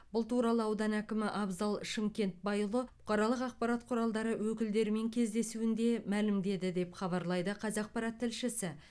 бұл туралы аудан әкімі абзал шымкентбайұлы бұқаралық ақпарат құралдары өкілдерімен кездесуінде мәлімдеді деп хабарлайды қазақпарат тілшісі